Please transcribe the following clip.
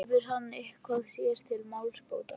Hefur hann eitthvað sér til málsbóta?